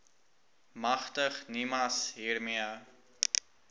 magtig nimas hiermee